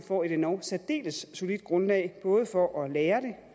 får et endog særdeles solidt grundlag både for at lære